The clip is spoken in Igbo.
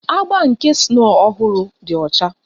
Agba nke snow ọhụrụ dị ọcha